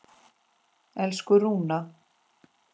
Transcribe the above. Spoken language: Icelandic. Elsku Rúna.